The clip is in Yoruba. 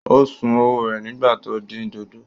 Ó sun ọwọ́ rẹ̀ nígbà tó ń dín dòdò.